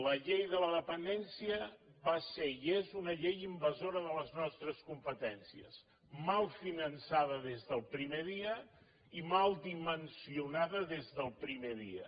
la llei de la dependència va ser i és una llei invasora de les nostres competències mal finançada des del primer dia i mal dimensionada des del primer dia